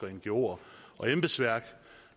og ngoer og embedsværk